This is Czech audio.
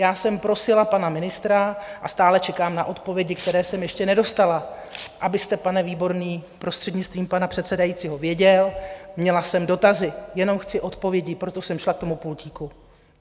Já jsem prosila pana ministra a stále čekám na odpovědi, které jsem ještě nedostala, abyste pane Výborný, prostřednictvím pana předsedajícího, věděl, měla jsem dotazy, jenom chci odpovědi, proto jsem šla k tomu pultíku.